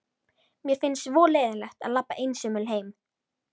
Mér finnst svo leiðinlegt að labba einsömul heim.